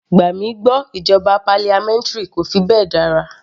Gbà mí gbọ́ ìjọba parliamentary kò fi bẹ́ẹ̀ dára.